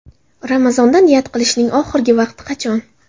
Ramazonda niyat qilishning oxirgi vaqti qachon?.